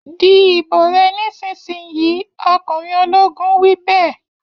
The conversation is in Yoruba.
Di ìbò rẹ nísìínyi! Ọkùnrin ológun wí bẹ́ẹ̀.